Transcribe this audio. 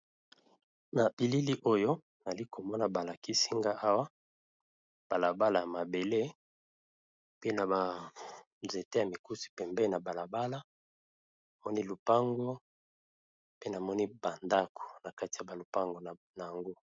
Na bilili oyo nali komona balakisi nga awa balabala ya mabele ,pe na banzete ya mikusi pembe na balabala namoni lupango ,pe namoni bandako na kati ya balupango na yango.